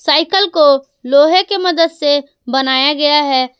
Cycle को लोहे की मदद से बनाया गया है।